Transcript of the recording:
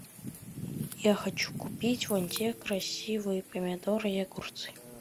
я хочу купить вон те красивые помидоры и огурцы